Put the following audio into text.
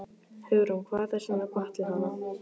Hugrún: Hvað er svona gott við hana?